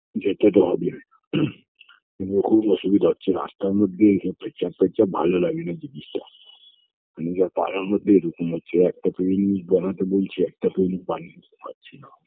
যেতে তো হবেই কিন্তু খুব অসুবিধা হচ্ছে রাস্তার মধ্যে পেচ্ছাপ টেচ্ছাপ ভালো লাগেনা জিনিসটা নিজের পাড়ার মধ্যে এরকম হচ্ছে একটা তো জিনিস বানাতে বলছে একটা তো উনি বানিয়ে দিতে পারছেনা